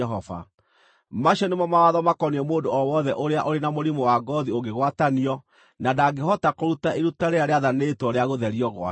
Macio nĩmo mawatho makoniĩ mũndũ o wothe ũrĩa ũrĩ na mũrimũ wa ngoothi ũngĩgwatanio, na ndangĩhota kũruta iruta rĩrĩa rĩathanĩtwo rĩa gũtherio gwake.